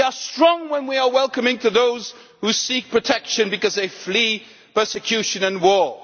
we are strong when we are welcoming to those who seek protection because they flee persecution and war.